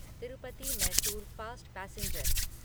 Tirupati Mysore fast passenger